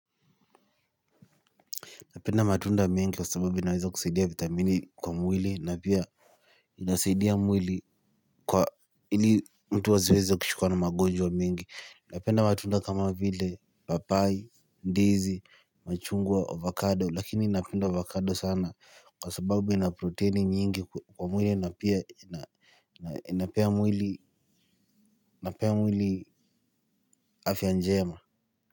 Napenda matunda mengi kwa sababu inaweza kusaidia vitamini kwa mwili na pia inasaidia mwili kwa ili mtu asiweze kushikwa na magonjwa mingi. Napenda matunda kama vile papai, ndizi, machungwa, avocado. Lakini napenda avocado sana kwa sababu ina proteini nyingi kwa mwili na pia inapea mwili afya njema.